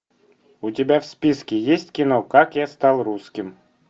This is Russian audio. у тебя в списке есть кино как я стал русским